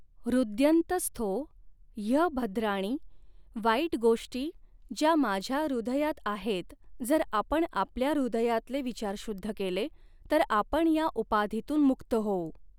ह्रुद्यन्त स्थॊ ह्यभद्राणि वाईट गोष्टी ज्या माझ्या हृदयात आहेत जर आपण आपल्या हृदयातले विचार शुद्ध केले तर आपण ह्या उपाधीतून मुक्त होऊ.